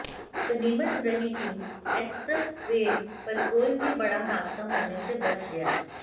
गनीमत रही कि एक्सप्रेस वे पर कोई भी बड़ा हादसा होने से बच गया